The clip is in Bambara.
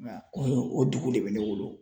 o o dugu le bɛ ne bolo.